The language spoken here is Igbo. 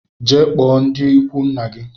Jee kpụọ ndi ikwu nna gi!